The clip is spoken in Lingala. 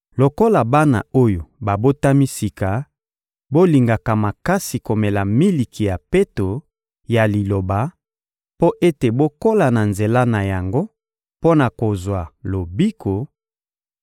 Lokola bana oyo babotami sika, bolingaka makasi komela miliki ya peto ya Liloba mpo ete bokola na nzela na yango mpo na kozwa lobiko,